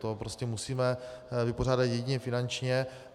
To prostě musíme vypořádat jedině finančně.